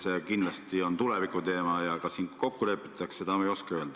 See kindlasti on tulevikuteema, aga kas suudetakse kokku leppida, seda ma ei oska öelda.